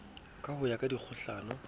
ka ho ya ka dikgohlano